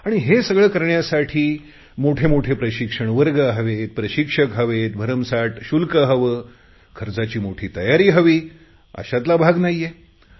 आणि हे सगळे करण्यासाठी मोठमोठे प्रशिक्षण वर्ग हवेत प्रशिक्षक हवेत भरमसाठ शुल्क हवे खर्चाची मोठी तयारी हवी अशातला भाग नाहीये